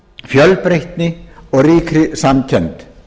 fjölbreytni og ríkri samkennd